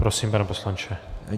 Prosím, pane poslanče.